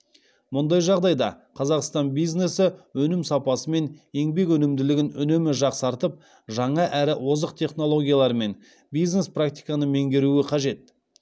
мұндай жағдайда қазақстан бизнесі өнім сапасы мен еңбек өнімділігін үнемі жақсартып жаңа әрі озық технологиялар мен бизнес практиканы меңгеруі қажет